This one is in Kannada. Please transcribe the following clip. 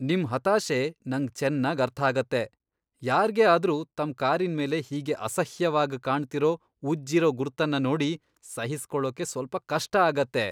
ನಿಮ್ ಹತಾಶೆ ನಂಗ್ ಚೆನ್ನಾಗ್ ಅರ್ಥಾಗತ್ತೆ. ಯಾರ್ಗೇ ಆದ್ರೂ ತಮ್ ಕಾರಿನ್ಮೇಲೆ ಹೀಗೆ ಅಸಹ್ಯವಾಗ್ ಕಾಣ್ತಿರೋ ಉಜ್ಜಿರೋ ಗುರ್ತನ್ನ ನೋಡಿ ಸಹಿಸ್ಕೊಳೋಕೆ ಸ್ವಲ್ಪ ಕಷ್ಟ ಆಗತ್ತೆ.